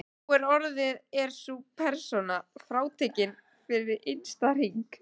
Nú orðið er sú persóna frátekin fyrir innsta hring.